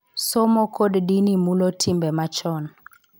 Somo, kod dini mulo timbe machon,